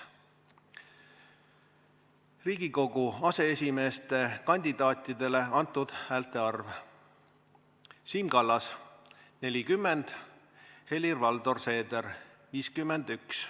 Riigikogu aseesimeeste kandidaatidele antud häälte arv: Siim Kallas – 40, Helir-Valdor Seeder – 51.